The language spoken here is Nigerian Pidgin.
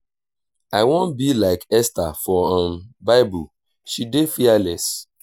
i wan be like esther for um bible she dey fearless